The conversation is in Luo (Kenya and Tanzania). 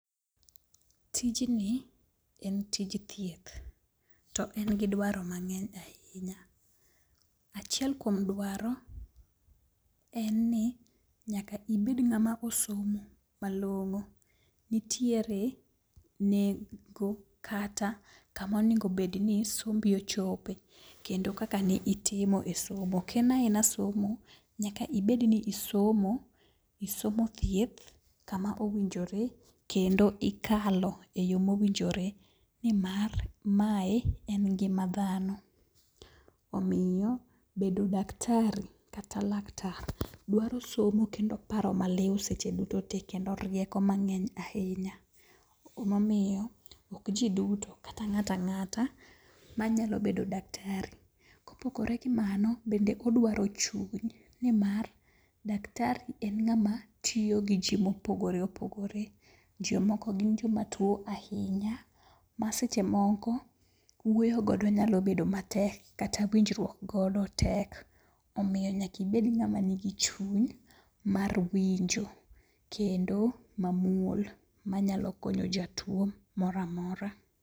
Tijni en tij thieth to en gi dwaro mang'eny ahinya. Achiel kuom dwaro en ni nyaka ibed ng'ama osomo malong'o. Nitiere nengo kata kama onego bedni sombi ochope kendo kaka ni itimo e somo ok en aena somo nyaka ibedni isomo isomo thieth kama owinjore kendo ikalo e yo mowinjore nimar mae en ngima dhano omiyo bedo daktari kata laktar dwaro somo kendo paro maliw seche duto te kendo rieko mang'eny ahinya emomiyo ok ji duto kata ng'atangata manyalo bedo daktari. Kopogore gi mano, bende odwaro chuny nimar daktari en ng'ama tiyo gi ji mopogore opogore, jomoko gin joma tuo ahinya ma seche moko wuoyo godo nyalo bedo matek kata winjruok godo tek. Omiyo nyakibed ng'ama nigi chuny mar winjo kendo mamuol manyalo konyo jatuo moroamora.